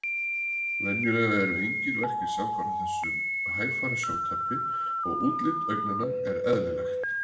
Venjulega eru engir verkir samfara þessu hægfara sjóntapi og útlit augnanna er eðlilegt.